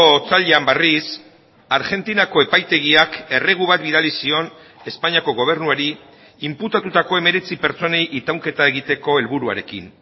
otsailean berriz argentinako epaitegiak erregu bat bidali zion espainiako gobernuari inputatutako hemeretzi pertsonei itaunketa egiteko helburuarekin